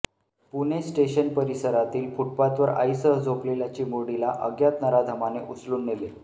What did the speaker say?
Pune station परिसरातील फुटपाथवर आईसह झोपलेल्या चिमुरडीला अज्ञात नराधमाने उचलून नेले